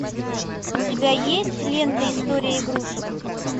у тебя есть лента история игрушек